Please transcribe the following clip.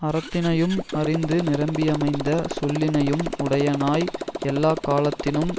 அறத்தினையும் அறிந்து நிரம்பியமைந்த சொல்லினையும் உடையனாய் எல்லாக்காலத்தினும்